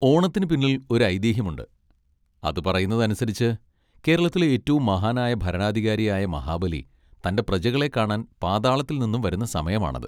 ഓണത്തിന് പിന്നിൽ ഒരു ഐതിഹ്യമുണ്ട്. അത് പറയുന്നതനുസരിച്ച് കേരളത്തിലെ ഏറ്റവും മഹാനായ ഭരണാധികാരിയായ മഹാബലി തൻ്റെ പ്രജകളെ കാണാൻ പാതാളത്തിൽനിന്നും വരുന്ന സമയമാണത്.